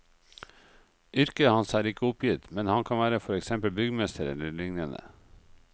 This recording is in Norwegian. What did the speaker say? Yrket hans er ikke oppgitt, men han kan være for eksempel byggmester eller liknende.